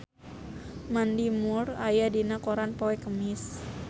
Mandy Moore aya dina koran poe Kemis